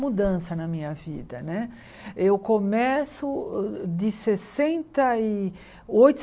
Mudança na minha vida, né? Eu começo uh uh de sessenta e oito